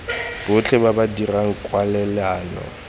botlhe ba ba dirang kwalelano